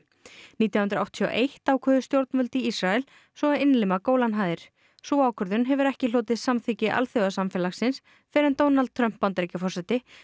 nítján hundruð áttatíu og eitt ákváðu stjórnvöld í Ísrael svo að innlima Gólanhæðir sú ákvörðun hefur ekki hlotið samþykki alþjóðasamfélagsins fyrr en Donald Trump Bandaríkjaforseti